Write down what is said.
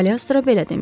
Kaliostro belə demişdi.